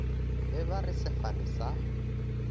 be ba re sefane sa